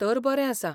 तर बरें आसा!